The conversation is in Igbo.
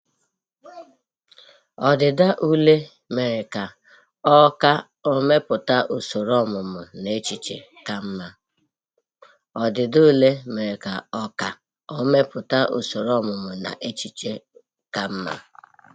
Ọdịda ule mere ka o ka o mepụta usoro ọmụmụ na echiche ka mma